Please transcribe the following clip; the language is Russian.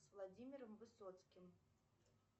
с владимиром высоцким